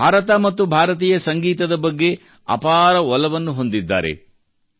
ಅವರು ಭಾರತ ಮತ್ತು ಭಾರತೀಯ ಸಂಗೀತದ ಬಗ್ಗೆ ಅಪಾರ ಒಲವನ್ನು ಹೊಂದಿದ್ದಾರೆ